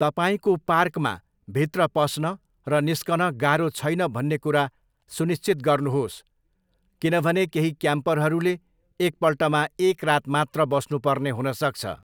तपाईँको पार्कमा भित्र पस्न र निस्कन गाह्रो छैन भन्ने कुरा सुनिश्चित गर्नुहोस् किनभने केही क्याम्परहरूले एकपल्टमा एक रात मात्र बस्नुपर्ने हुन सक्छ।